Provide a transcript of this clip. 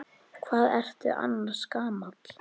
Hvað ertu annars gamall?